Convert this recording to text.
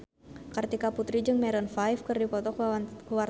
Kartika Putri jeung Maroon 5 keur dipoto ku wartawan